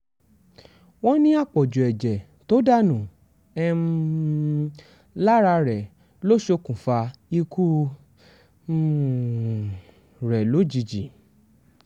wọ́n ní àpọ̀jù ẹ̀jẹ̀ tó dànù um lára rẹ̀ ló ṣokùnfà ikú um rẹ̀ lójijì